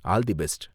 All the best!